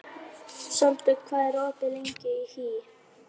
Sigurlás, hver syngur þetta lag?